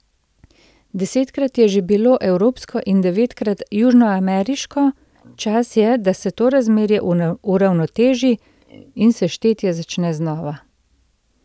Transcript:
Desetkrat je že bilo evropsko in devetkrat južnoameriško, čas je, da se to razmerje uravnoteži in se štetje začne znova.